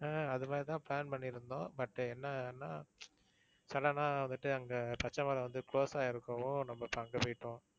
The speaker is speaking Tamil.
ஆஹ் அது மாதிரி தான் plan பண்ணிருந்தோம். but என்னன்னா sudden ஆ வந்துட்டு அங்க பச்சைமலை வந்து close ஆயிருக்கவும் இப்போ நம்ம அங்க போயிட்டோம்.